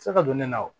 Se ka don ne la wa